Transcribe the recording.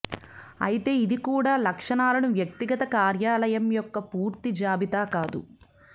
అయితే ఇది కూడా లక్షణాలను వ్యక్తిగత కార్యాలయం యొక్క పూర్తి జాబితా కాదు